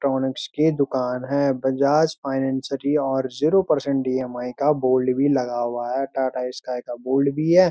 Electronics की दुकान है बजाज फिनसेरी और zero percent E. M. I. का बोर्ड भी लगा हुआ है टाटा स्कई का बोर्ड भी है।